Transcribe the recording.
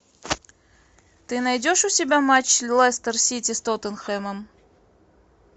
ты найдешь у себя матч лестер сити с тоттенхэмом